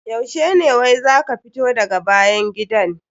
Yaushe ne wai za ka fito daga bayan gidan?